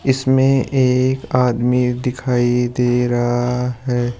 इसमें एक आदमी दिखाई दे रहा है।